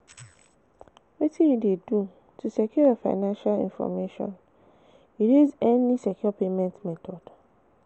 Wetin you dey do to secure your financial information, you dey use any secure payment method?